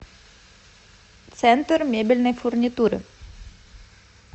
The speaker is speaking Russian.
центр мебельной фурнитуры